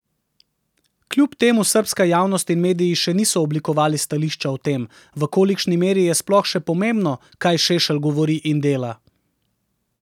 Kljub temu srbska javnost in mediji še niso oblikovali stališča o tem, v kolikšni meri je sploh še pomembno, kaj Šešelj govori in dela.